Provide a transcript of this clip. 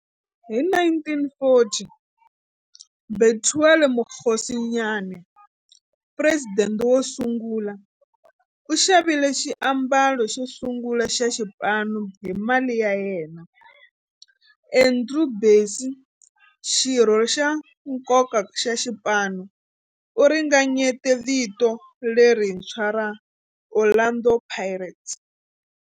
Hi 1940, Bethuel Mokgosinyane, president wosungula, u xavile xiambalo xosungula xa xipano hi mali ya yena. Andrew Bassie, xirho xa nkoka xa xipano, u ringanyete vito lerintshwa ra 'Orlando Pirates'.